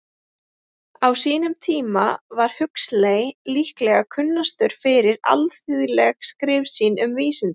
Á sínum tíma var Huxley líklega kunnastur fyrir alþýðleg skrif sín um vísindi.